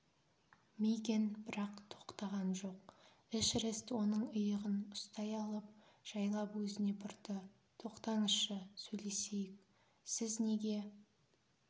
мигэн бірақ тоқтаған жоқ эшерест оның иығынан ұстай алып жайлап өзіне бұрды тоқтаңызшы сөйлесейік сіз неге